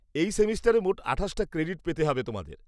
-এই সেমেস্টারে মোট আঠাশটা ক্রেডিট পেতে হবে তোমাদের।